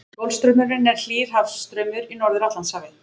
Golfstraumurinn er hlýr hafstraumur í Norður-Atlantshafi.